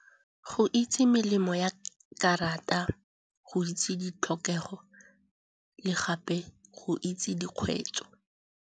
Go itse melemo ya karata, go itse ditlhokego le gape go itse dikgweetso.